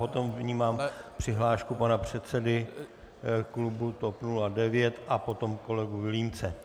Potom vnímám přihlášku pana předsedy klubu TOP 09 a potom kolegu Vilímce.